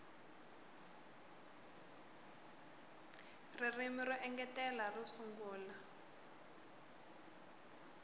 ririmi ro engetela ro sungula